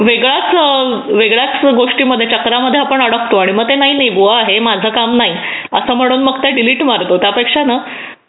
वेगळाच वेगळ्याच गोष्टी मध्ये चक्रामध्ये आपण अडकतो आणि मग ते नाही मग इगो आहे की हे माझं काम नाही असं म्हणून तर आपण डिलीट मारतो मग त्यापेक्षा ना